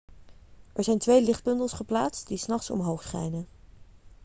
er zijn twee lichtbundels geplaatst die s nachts omhoog schijnen